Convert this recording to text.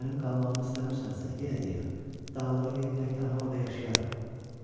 Mənim qalmağımı istəmirsənsə, yenə deyirəm, dağlara gedib tək tənha orda yaşayaram.